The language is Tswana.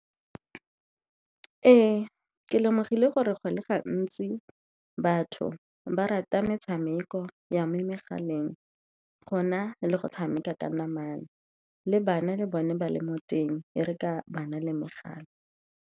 Ee, ke lemogile gore go le gantsi batho ba rata metshameko ya mo megaleng go na le go tshameka ka namana, le bana le bone ba le mo teng, e re ka ba na le megala.